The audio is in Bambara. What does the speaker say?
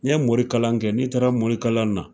Ni ye morikalan kɛ, n'i taara morikalan na,